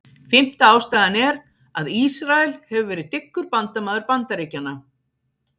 Fimmta ástæðan er, að Ísrael hefur verið mjög dyggur bandamaður Bandaríkjanna.